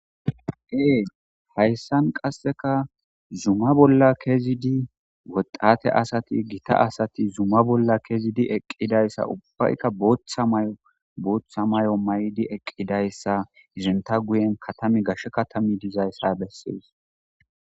Ee hayssan qasseka zuma bolla kezidi woxate asati gita asati zuma bolla kezidi eqqidayssa ubbayka booththa may'o booththa may'o may'di eqqidayssa izinta guyen katami gashshe katami dizayssa bessees.